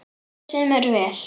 Okkur semur vel